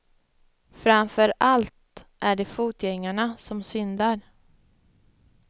Framför allt är det fotgängarna som syndar.